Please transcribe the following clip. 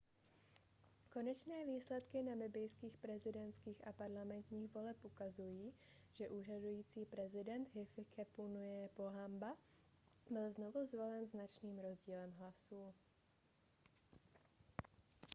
konečné výsledky namibijských prezidentských a parlamentních voleb ukazují že úřadující prezident hifikepunye pohamba byl znovu zvolen značným rozdílem hlasů